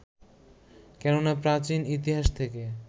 কেননা প্রাচীন ইতিহাস থেকে